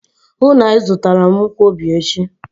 Hụụ na Ị zụtara m nkwobi echi!